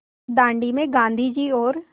दाँडी में गाँधी जी और